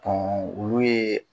olu ye